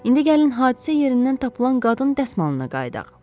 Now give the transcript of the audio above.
İndi gəlin hadisə yerindən tapılan qadın dəsmalına qayıdaq.